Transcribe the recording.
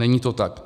Není to tak.